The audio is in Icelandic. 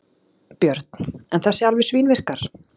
Björn: En þessi alveg svínvirkar?